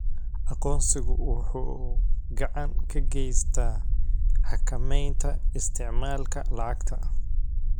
Aqoonsigu waxa uu gacan ka geystaa xakamaynta isticmaalka lacagta.